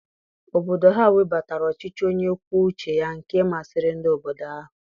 Obodo ha webatara ọchịchị onye kwuo uche ya nke masịrị ndị obodo ahụ.